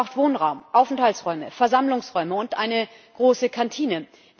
Es braucht Wohnraum, Aufenthaltsräume, Versammlungsräume und eine große Kantine.